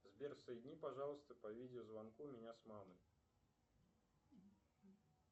сбер соедини пожалуйста по видео звонку меня с мамой